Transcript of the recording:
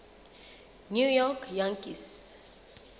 new york yankees